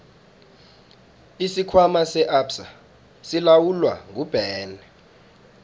isikhwama se absa silawulwa nguben